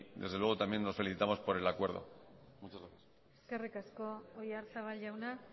desde luego también nos felicitamos por el acuerdo muchas gracias eskerrik asko oyarzabal jauna